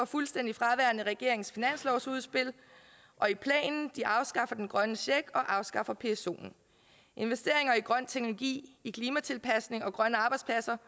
fuldstændig fraværende i regeringens finanslovsudspil og i planen de afskaffer den grønne check og afskaffer psoen investeringer i grøn teknologi i klimatilpasning og grønne arbejdspladser